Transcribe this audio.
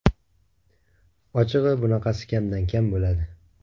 Ochig‘i bunaqasi kamdan kam bo‘ladi.